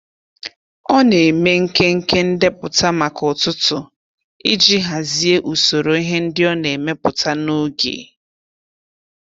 Ọ na-eme nkenke ndepụta maka ụtụtụ iji hazie usoro ihe ndị ọ na-emepụta n'oge.